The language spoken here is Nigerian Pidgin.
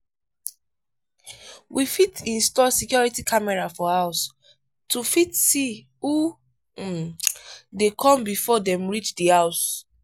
we fit install security camera for house to fit see who um dey come before dem reach di house